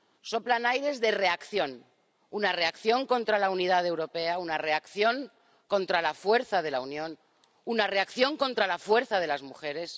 soplan aires de reacción una reacción contra la unidad europea, una reacción contra la fuerza de la Unión, una reacción contra la fuerza de las mujeres.